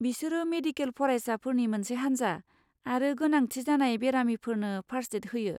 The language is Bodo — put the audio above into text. बिसोरो मेडिकेल फरायसाफोरनि मोनसे हानजा आरो गोनांथि जानाय बेरामिफोरनो फार्स्ट एड होयो।